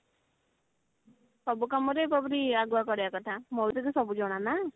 ସବୁ କାମରେ ଆଗୁଆ କରିବା କଥା ମୈତ୍ରୀ କୁ ତ ସବୁ ଜଣାନା